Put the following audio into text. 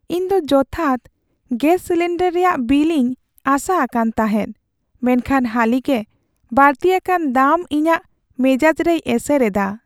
ᱤᱧ ᱫᱚ ᱡᱚᱛᱷᱟᱛ ᱜᱮᱥ ᱥᱤᱞᱤᱱᱰᱟᱨ ᱨᱮᱭᱟᱜ ᱵᱤᱞ ᱤᱧ ᱟᱥᱟ ᱟᱠᱟᱱ ᱛᱟᱦᱮᱫ, ᱢᱮᱱᱠᱷᱟᱱ ᱦᱟᱹᱞᱤ ᱜᱮ ᱵᱟᱹᱲᱛᱤ ᱟᱠᱟᱱ ᱫᱟᱢ ᱤᱧᱟᱹᱜ ᱢᱮᱡᱟᱡ ᱨᱮᱭ ᱮᱥᱮᱨ ᱮᱫᱟ ᱾